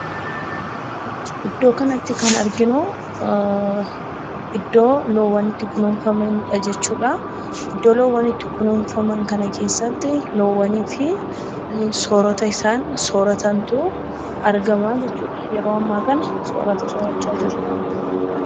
Iddoo kanatti kan arginuu iddoo loowwan itti kunuunfamanidha jechuudhaa. Iddoo loowwan itti kunuunfaman kana keessatti loowwanii fi soorata isaan sooratantuu argamaa jechuudha. Yeroo ammaa kana soorata soorachaa jiru.